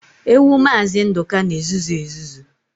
Ewu maazi Nduka n'ezuzu ezuzu